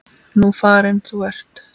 Nú farin þú ert.